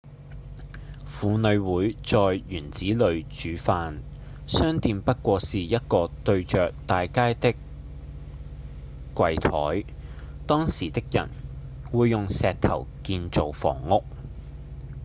婦女會在院子裡煮飯；商店不過是一個對著大街的櫃檯當時的人會用石頭建造房屋